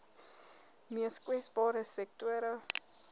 mees kwesbare sektore